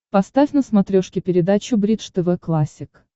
поставь на смотрешке передачу бридж тв классик